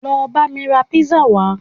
Lọ bá mi rà pizza wá